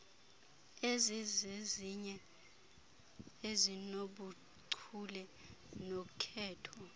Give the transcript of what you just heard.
ezizezinye ezinobuchule nokhetho